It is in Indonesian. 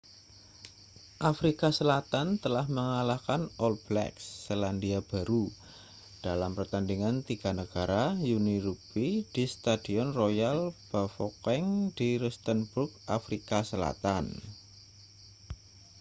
afrika selatan telah mengalahkan all blacks selandia baru dalam pertandingan tiga negara uni rugbi di stadion royal bafokeng di rustenburg afrika selatan